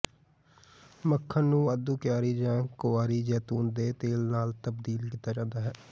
ਮੱਖਣ ਨੂੰ ਵਾਧੂ ਕੁਆਰੀ ਜਾਂ ਕੁਆਰੀ ਜੈਤੂਨ ਦੇ ਤੇਲ ਨਾਲ ਤਬਦੀਲ ਕੀਤਾ ਜਾਂਦਾ ਹੈ